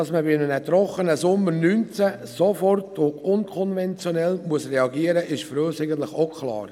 Dass man bei einem trockenen Sommer 2019 sofort und unkonventionell reagieren muss, ist für uns auch klar.